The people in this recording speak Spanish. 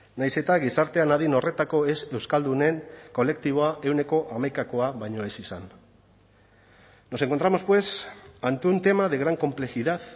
nahiz eta gizartean adin horretako ez euskaldunen kolektiboa ehuneko hamaikakoa baino ez izan nos encontramos pues ante un tema de gran complejidad